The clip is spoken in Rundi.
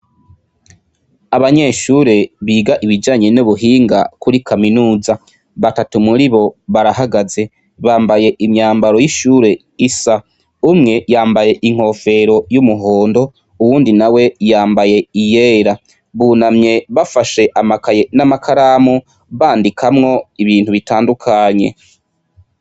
Abanyeshure biga ibijanye n'ubuhinga kuri kaminuza. Batatu muribo barahagaze. Bambaye imyambaro y'ishure isa. Umwe yambaye inkofero y'umuhondo, uwundi nawe, yambaye iyera. Bunamye bafashe amakaye n'amakaramu, bandikamwo ibintu bitandukanye.